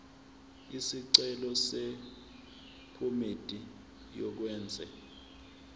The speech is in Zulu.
isicelo sephomedi yokwenze